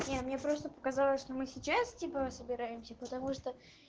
не мне просто показалось что мы сейчас типа собираемся потому что